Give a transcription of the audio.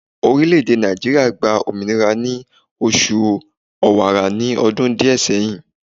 Orileèdè Nàìjíríà gba òmìnira ni oṣù Ọ̀wààrà ní ọdún díè seyin